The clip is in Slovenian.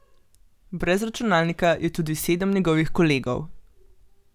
Brez računalnika je tudi sedem njegovih kolegov.